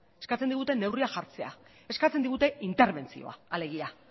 eskatzen digute neurriak jartzea eskatzen digute interbentzioa alegia